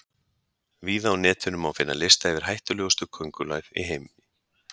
Víða á Netinu má finna lista yfir hættulegustu köngulær heims.